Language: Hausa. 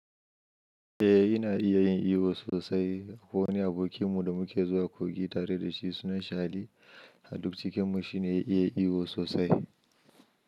Eh ina iya yin iyo sosai. Akwai wani abokinmu da muke zuwa kogi tare da shi sunan shi Ali. A duk cikin mu shi ne ya iya iyo sosai.